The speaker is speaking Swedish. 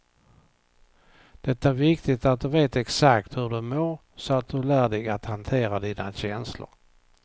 Det är viktigt att du vet exakt hur du mår så att du lär dig att hantera dina känslor.